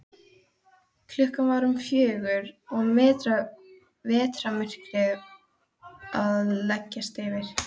Klukkan var um fjögur og vetrarmyrkrið að leggjast yfir.